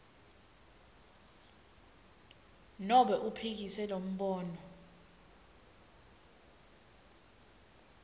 nobe uphikise lombono